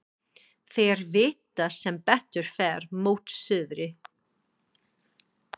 Þeir vita sem betur fer mót suðri.